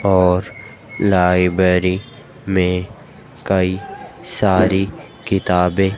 और लाइब्रेरी में कई सारी किताबें--